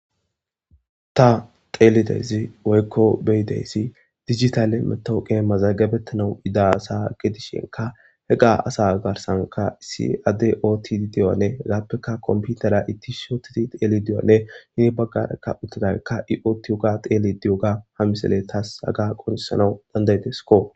Ta xelidaysi woyko besidaysi dijitale matoqiya mazagabetanaw yida asa gidishinka hega asa garsanka issi adey otidi diyogane hegapeka kompitere ichisi utidi dhelidi diyogane guye bagaraka utidageka i otidi diyoga dhelide diyoga ha missile tas haga qonc'isanaw danda'desko.